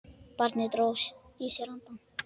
Barnið dró að sér andann.